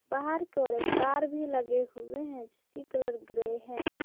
बाहर की ओर एक कार भी लगे हुए हैं जिसकी कलर ग्रे हैं।